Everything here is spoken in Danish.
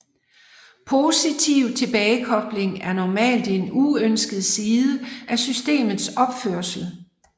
Positiv tilbagekobling er normalt en uønsket side af systemets opførsel